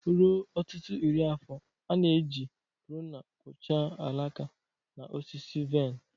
Ruo ọtụtụ iri afọ, a na-eji pruna kpụchaa alaka na osisi vaịn.